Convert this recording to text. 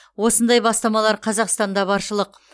осындай бастамалар қазақстанда баршылық